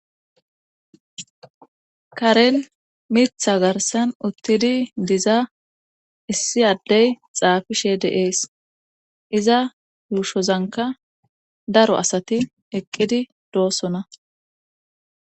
karen mitha garsan uttidi diza issi addey xaafishe deees iza yushozanka daro asati eqqidi doossona